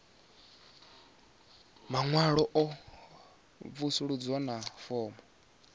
maṅwalo a mvusuludzo na fomo